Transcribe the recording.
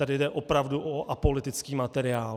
Tady jde opravdu o apolitický materiál.